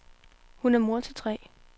Hun er mor til tre.